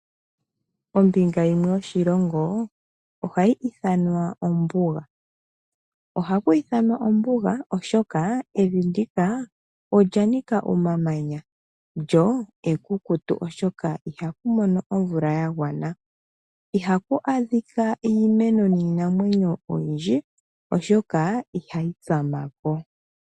Ombinga yimwe yoshilongo ohayi ithanwa ombuga . Ohaku ithanwa ombuga oshoka evi ndika olya nika omamanya lyo ekukutu oshoka ihaku mono omvula ya gwana. Ihaku adhika iimeno niinamwenyo oyindji oshoka ihayi tsamako.